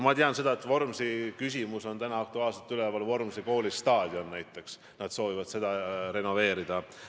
Ma tean aga, et Vormsi küsimus on praegugi aktuaalsena üleval, näiteks nad soovivad renoveerida Vormsi kooli staadioni.